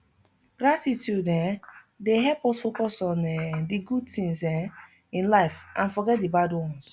gratitude um dey help us focus on um di good tings um in life and forget di bad ones